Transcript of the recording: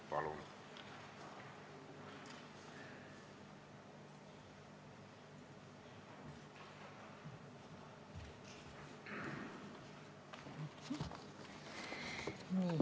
Palun!